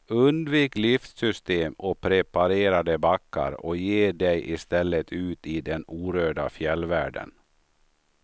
Undvik liftsystem och preparerade backar och ge dig i stället ut i den orörda fjällvärlden.